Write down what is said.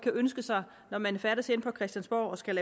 ønske sig når man færdes herinde på christiansborg og skal